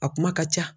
A kuma ka ca